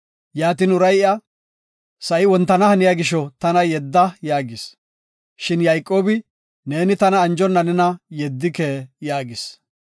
Yaatin uray iya, “Sa7i wontana haniya gisho, tana yedda” yaagis. Shin Yayqoobi, “Neeni tana anjonna nena yeddike” yaagis.